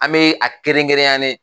An be a kerenkerenyalen